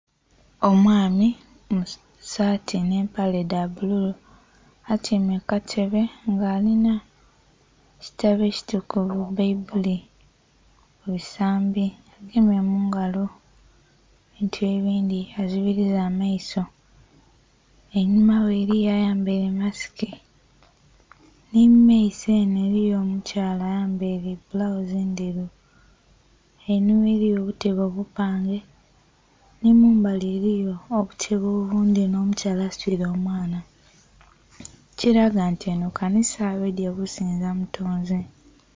Omwami mu saati nh'empale dha bbululu atyaime ku katebe nga alinha ekitabo ekitukuvu baibuli ku bisambi, agemye mu ngalo ebintu ebindhi azibiriiza amaiso. Einhuma ghe eliyo ayambaile masiki nhi mu maiso enho eliyo omukyala ayambaile bulawuzi endheru. Einhuma eliyo obutebe obupange nhi mu mbali eliyo obutebe obundhi nh'omukyala asitwile omwana. Ekilaga nti enho kanisa baidhye kusinza mutonzi.